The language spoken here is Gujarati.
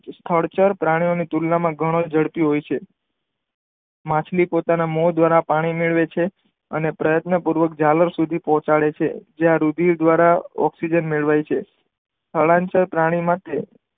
થડચર પ્રાણી ઓ ના તુલનામાં ઘણું ઝડપી હોય છે માછલી પોતાના મોં દ્વારા પાણીમેળવે છે અને પ્રયતન પૂર્વક ઝાલર સુધી પોહાચાડે છે જ્યાં રુધિર દ્વારા ઓકઝીજન મેળવાય છે સ્થળાંતર પ્રાણી માટે